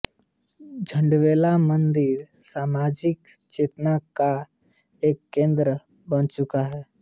झंडेवाला मंदिर सामाजिक चेतना का एक केन्द्र बन चुका है